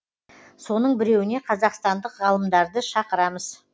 соның біреуіне қазақстандық ғалымдарды шақырамыз